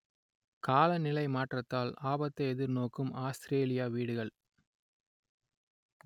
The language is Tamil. காலநிலை மாற்றத்தால் ஆபத்தை எதிர்நோக்கும் ஆஸ்திரேலிய வீடுகள்